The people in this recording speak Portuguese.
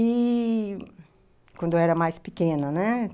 E, quando eu era mais pequena, né?